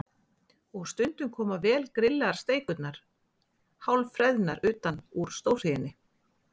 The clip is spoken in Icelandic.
Og stundum koma vel grillaðar steikurnar hálf freðnar utan úr stórhríðinni.